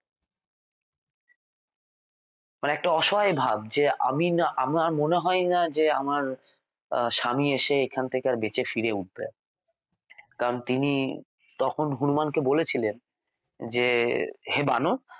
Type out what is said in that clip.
মানে একটা অসহায় ভাব যে আমি না আমার মনে হয় না যে আমার স্বামী এসে এখান থেকে আর বেঁচে ফিরে উঠবে কারণ তিনি তখন হনুমানকে বলেছিলেন যে হে বানর